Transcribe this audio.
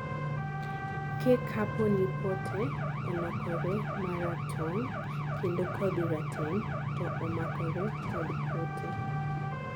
ke kapo ni pote olokore maratong' kendo kodhi rateng to omakore kod pote